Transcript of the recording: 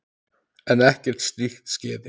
En ekkert slíkt skeði.